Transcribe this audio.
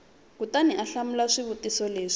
kutani u hlamula swivutiso leswi